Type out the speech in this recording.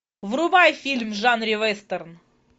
врубай фильм в жанре вестерн